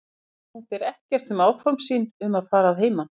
Sagði hún þér þá ekkert um áform sín um að fara að heiman?